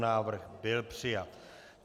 Návrh byl přijat.